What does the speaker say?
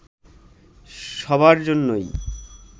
সবার জন্যই